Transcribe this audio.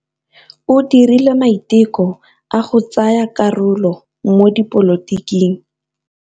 O dirile maitekô a go tsaya karolo mo dipolotiking.